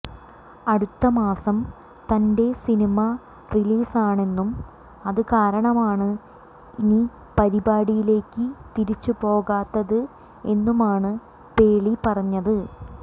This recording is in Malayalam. അടുത്ത മാസം തന്റെ സിനിമ റിലീസാണെന്നും അത് കാരണമാണ് ഇനി പരിപാടിയിലേക്ക് തിരിച്ചു പോകാത്തത് എന്നുമാണ് പേര്ളി പറഞ്ഞത്